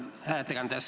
Hea ettekandja!